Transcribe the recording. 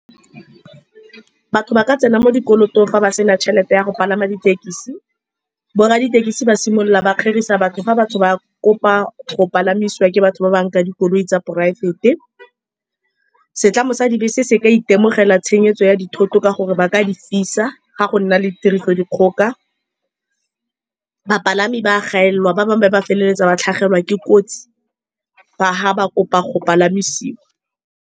Batho ba ka tsena mo dikolotong fa ba sena tšhelete ya go palama ditekisi. Borra ditekisi ba simolola ba kgerisa batho fa batho ba kopa go palamisiwa ke batho ba bangwe ka dikoloi tsa poraefete. Setlamo sa dibese se ka itemogela tshenyegelo ya dithoto ka gore ba ka di fisa fa go nna le tiriso dikgoka. Bapalami ba gaelelwa, ba bangwe ba feleletsa ba tlhagelwa ke kotsi fa-fa ba kopa go palamisiwa.